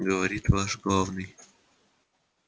говорит ваш главный